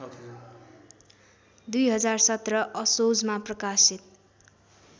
२०१७ असोजमा प्रकाशित